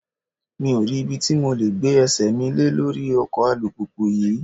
Mi ò rí ibi tí mo le gbé ẹsẹ̀ mi lé lórí ọkọ̀ alùpùpù yí.